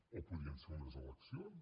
o podrien ser unes eleccions